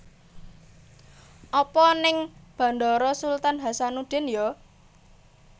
Apa ning Bandara Sultan Hassanudin yo?